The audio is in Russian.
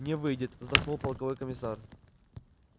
не выйдет вздохнул полковой комиссар